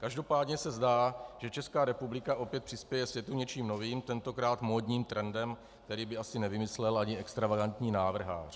Každopádně se zdá, že Česká republika opět přispěje světu něčím novým, tentokrát módním trendem, který by asi nevymyslel ani extravagantní návrhář.